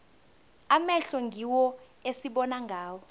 amehlo ngiwo esibona ngawo